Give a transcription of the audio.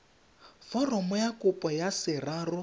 foromo ya kopo ka seraro